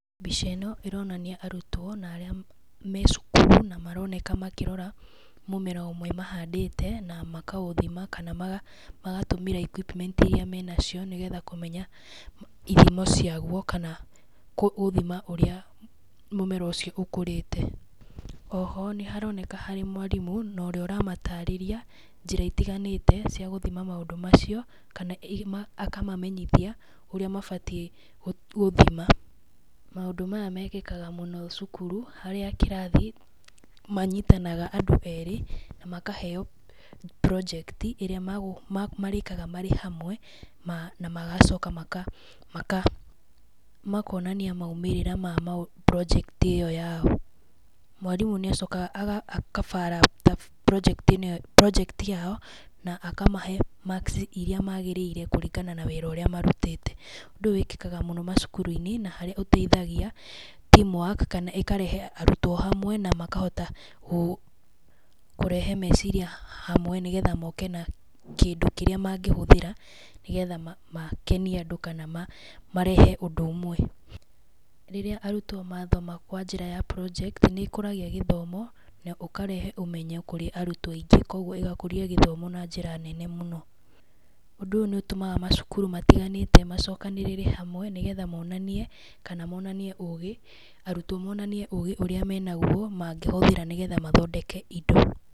Mbica ĩno ĩronania arũtwo na arĩa me cukuru, maroneka na makĩrora mũmera ũmwe mahandĩte na makaũthima kana magatũmĩra equipment iria menacio nĩgetha kũmenya ithimo ciagũo kana gũthima ũrĩa mũmera ũcio ũkũrĩte. Oho nĩ haroneka harĩ mwarimũ na ũrĩa ũramatarĩria njĩra itiganĩte cia gũthima maũndũ macio kana akamamenyithia ũrĩa mabatĩe gũthima, maũndũ maya mekĩkaga mũno cukuru harĩa kĩrathi manyitanaga andũ erĩ na makahe project ĩrĩa marĩkaga marĩ hamwe na magacoka makonania maumĩrĩra ma project ĩyo yao. Mwarimũ nĩacokaga akabara project yao na akamahe marks iria magĩrĩire kũringana na wĩra ũrĩa marutĩte, ũndũ ũyũ wĩkĩkaga mũno macukuru-inĩ na harĩa ũteithagia teamwork kana ĩkarehe arutwo hamwe na makahota kũrehe meciria hamwe nĩgetha moke na kĩndũ kĩrĩa mangĩhũthĩra nĩgetha makenie andũ kana marehe ũndũ ũmwe. Rĩrĩa arutwo mathoma kwa njĩra ya project nĩ makũragia githomo na makarehe ũmenyo kũrĩ arutwo aingĩ kwa ũguo ĩgakũria gĩthomo na njĩra nene mũno. Ũndũ ũyũ nĩ ũtũmaga macukuru matiganĩte macokanĩrĩre hamwe nĩgetha monanie kana monanie ũgĩ, arutwo monanie ũgĩ ũrĩa menagwo na mangĩhũthĩra nĩgũo mathondeke indo.